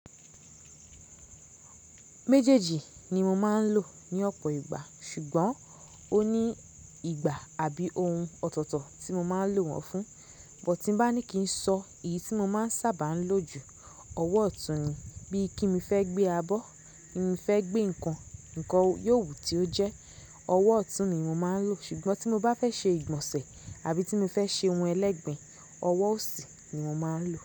Méjèèjì ni mo máa ń lò ní ọ̀pọ̀ ìgbà, ṣùgbọ́n ó ní ìgbà àbí ohun ọ̀tọ̀ọ̀tọ̀ tí mo máa lò wọ́n fún. Bọ̀ tí bá ní kí n sọ èyí tí mo máa ń sábà lò jù, ọwọ́ ọ̀tún ni. Bí i kí mi fẹ́ gbé abọ́, kí mí fẹ́ gbé nǹkan, nǹkan yóò wù tí ó jẹ́, ọwọ́ ọ̀tún ni mo máa ń lò. Ṣùgbọ́n tí mo bá fẹ́ ṣe ìgbọ̀nsẹ̀ àbí tí mo fẹ́ ṣe ohun ẹlẹ́gbẹ̀ẹ́, ọwọ́ òsì ni mo máa ń lò.